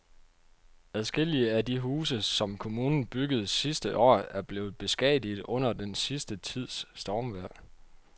Adskillige af de huse, som kommunen byggede sidste år, er blevet beskadiget under den sidste tids stormvejr.